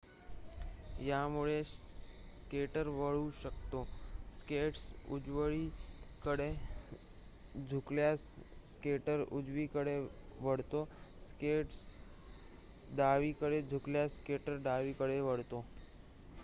यामुळे स्केटर वळू शकतो स्केट्स उजवीकडे झुकल्यास स्केटर उजवीकडे वळतो स्केट्स डावीकडे झुकल्यास स्केटर डावीकडे वळतो